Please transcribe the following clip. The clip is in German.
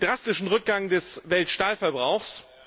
Wir haben einen drastischen Rückgang des Weltstahlverbrauchs.